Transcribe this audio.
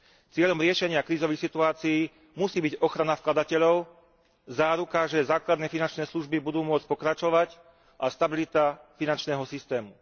Cieľom riešenia krízových situácií musí byť ochrana vkladateľov, záruka, že základné finančné služby budú môcť pokračovať, a stabilita finančného systému.